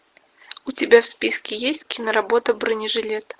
у тебя в списке есть киноработа бронежилет